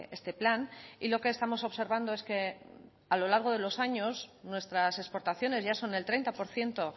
este plan y lo que estamos observando es que a lo largo de los años nuestras exportaciones ya son el treinta por ciento